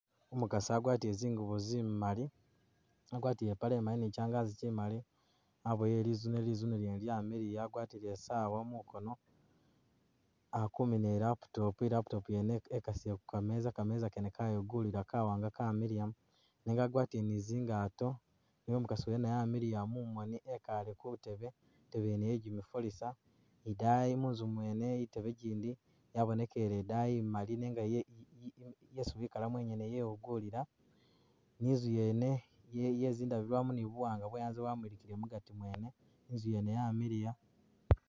Umukasi agwatile zingubo zimali, agwatile ipale imali ni kyangaji kyimali, abuwele lizuune, lizuune lyene lyamiliya, agwatile Isaawa ku mukono, akumina i laptop,i laptop yene wajikasile ku meza, kameza kene kayugulila kawanga kamiliya, nenga agwatile ni zingato ne umukasi wene amiliya mumoni, ekaale ku tebe, i tebe yene yegimifalisa idaayi munzu mwene i tebe gindi yabonekele idaayi imali nenga ye- yesi wikalamo inyene yewugulila ,ni inzu yene ye- ye zindabilwamu ni buwanga bwe anzye bwamulikile mugati mwene inzu yene yamiliya.